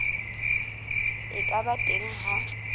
e ka ba teng ha